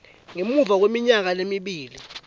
ngemuva kweminyaka lemibili